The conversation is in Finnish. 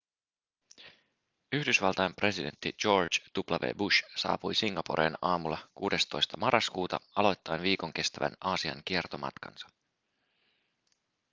yhdysvaltain presidentti george w bush saapui singaporeen aamulla 16 marraskuuta aloittaen viikon kestävän aasian kiertomatkansa